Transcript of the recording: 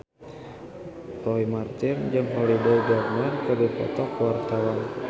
Roy Marten jeung Holliday Grainger keur dipoto ku wartawan